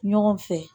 Ɲɔgɔn fɛ